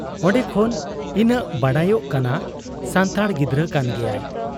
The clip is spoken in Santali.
ᱚᱱᱰᱮ ᱠᱷᱚᱱ ᱤᱱᱟᱹᱜ ᱵᱟᱰᱟᱭᱚᱜ ᱠᱟᱱᱟ ᱥᱟᱱᱛᱟᱲ ᱜᱤᱫᱟᱹᱨ ᱠᱟᱱ ᱜᱮᱭᱟᱜ ᱾